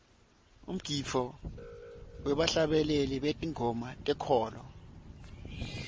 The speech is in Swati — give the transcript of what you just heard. umgidvo webahlabeleli betingoma tenkholo